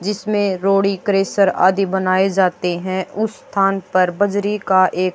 जिसमें रोड़ी क्रेशर आदी बनाए जाते हैं उस स्थान पर बजरी का एक--